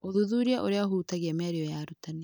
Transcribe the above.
Ũthuthuria ũrĩa ũhutagia mĩario ya arutani.